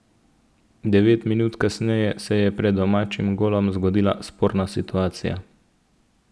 Devet minut kasneje se je pred domačim golom zgodila sporna situacija.